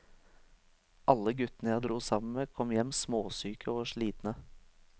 Alle guttene jeg dro sammen med, kom hjem småsyke og slitne.